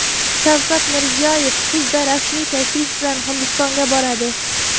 Shavkat Mirziyoyev kuzda rasmiy tashrif bilan Hindistonga boradi.